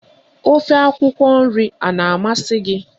Ofe akwụkwọ nri a na-amasị gị?